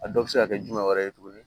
A dɔw bɛ se ka kɛ jumɛn wɛrɛ ye tuguni